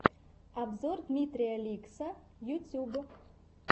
обзор дмитрия ликсссса ютюб